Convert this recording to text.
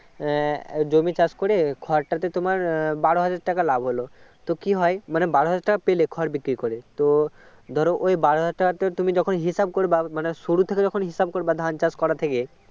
আহ জমি চাষ করে খড়টা তে তোমার বারো হাজার টাকা লাভ হল তো কি হয় মানে বারো হাজার টাকা পেলে খড় বিক্রি করে তো ধরো ওই বারো হাজার টাকা তুমি যখন হিসাবে করবে মানে শুরু থেকে যখন হিসাবে করবে ধান চাষ করা থেকে